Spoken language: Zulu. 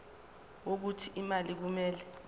wokuthi imali kumele